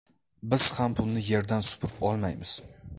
Biz ham pulni yerdan supurib olmaymiz.